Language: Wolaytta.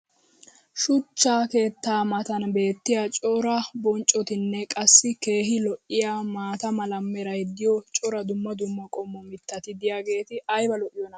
shuchcha keettaa matan beetiya cora bonccotinne qassi keehi lo'iyaa maata mala meray diyo cora dumma dumma qommo mitati diyaageti ayba lo'iyoonaa?